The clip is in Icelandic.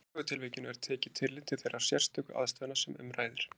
Í hvorugu tilvikinu er tekið tillit til þeirra sérstöku aðstæðna sem um ræðir.